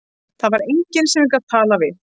Það var enginn sem ég gat talað við.